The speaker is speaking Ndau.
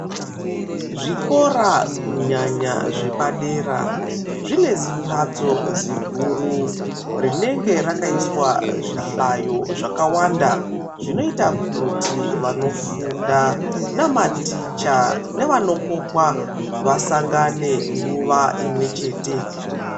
Zvikora kunyanya zvepadera zvinezimhatso ziguru rinenge rakaiswa zvihlayo zvakawanda zvinoita kuti vanofunda namaticha nevanokokwa vasangane nguwa imwe chete